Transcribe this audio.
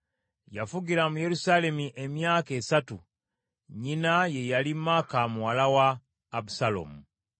Yafugira mu Yerusaalemi emyaka esatu. Nnyina ye yali Maaka muwala wa Abusaalomu.